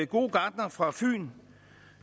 gode gartner fra fyn